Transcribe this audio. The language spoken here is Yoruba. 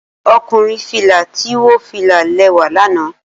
Okunrin fila ti wo fila lẹwa lana